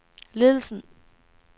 ledelsen